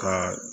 Ka